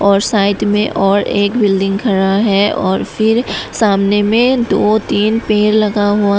और साइड में और एक बिल्डिंग खड़ा है और फिर सामने में दो तीन पेड़ लगा हुआ--